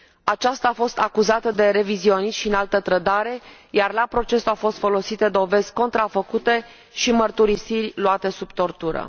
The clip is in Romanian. Aceasta a fost acuzată de revizionism și înaltă trădare, iar la proces au fost folosite dovezi contrafăcute și mărturisiri luate sub tortură.